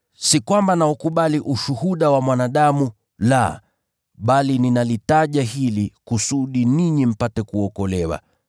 Si kwamba naukubali ushuhuda wa mwanadamu, la, bali ninalitaja hili kusudi ninyi mpate kuokolewa.